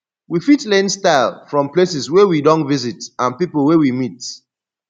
we fit learn style from places wey we don visit and pipo wey we meet